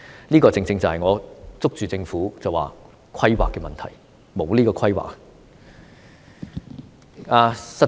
這個正正是我指出政府欠缺規劃的問題。